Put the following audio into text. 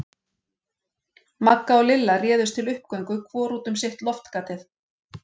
Magga og Lilla réðust til uppgöngu hvor út um sitt loftgatið.